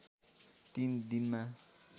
तिन दिनमा